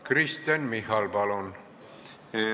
Kristen Michal, palun!